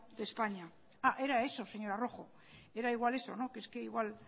de españa era eso señora rojo era igual eso que es que igual